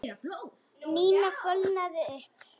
Nína fölnaði upp.